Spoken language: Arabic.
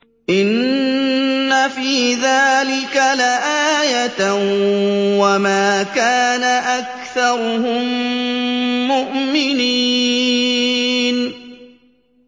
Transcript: إِنَّ فِي ذَٰلِكَ لَآيَةً ۖ وَمَا كَانَ أَكْثَرُهُم مُّؤْمِنِينَ